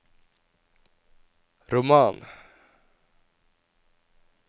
roman